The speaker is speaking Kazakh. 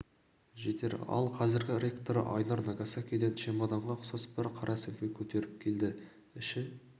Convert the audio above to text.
жетер ал қазіргі ректоры айнұр нагасакиден чемоданға ұқсас бір қара сөмке көтеріп келді іші